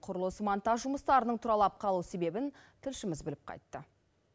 құрылыс монтаж жұмыстарының тұралап қалу себебін тілшіміз біліп қайтты